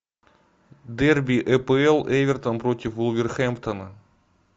дерби эпл эвертон против вулверхэмптона